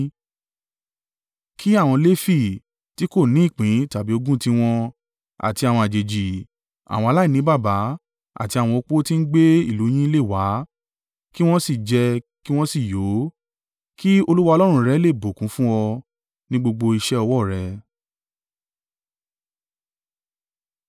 Kí àwọn Lefi (tí kò ní ìpín tàbí ogún tiwọn) àti àwọn àjèjì, àwọn aláìní baba, àti àwọn opó tí ń gbé ìlú yín lè wá, kí wọn sì jẹ kí wọn sì yó, kí Olúwa Ọlọ́run rẹ le è bùkún fún ọ, nínú gbogbo iṣẹ́ ọwọ́ rẹ.